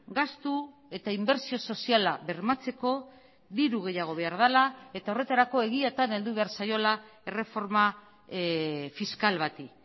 gastu eta inbertsio soziala bermatzeko diru gehiago behar dela eta horretarako egiatan heldu behar zaiola erreforma fiskal bati